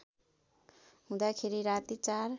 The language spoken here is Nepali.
हुँदाखेरि राति ४